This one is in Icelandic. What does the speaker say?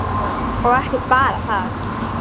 Og ekki bara það: